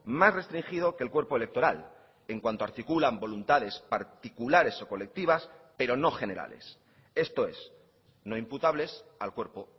más restringido que el cuerpo electoral en cuanto articulan voluntades particulares o colectivas pero no generales esto es no imputables al cuerpo